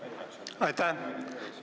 Aitäh!